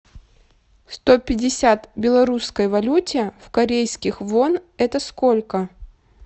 сто пятьдесят белорусской валюте в корейских вон это сколько